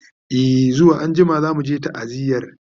e zuwa anjima zamuje ta'aziyar